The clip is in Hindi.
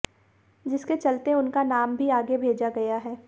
जिसके चलते उनका नाम भी आगे भेजा गया है